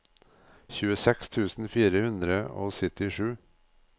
tjueseks tusen fire hundre og syttisju